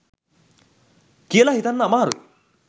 කියල හිතන්න අමාරුයි.